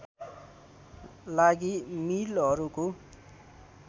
लागि मिलहरूको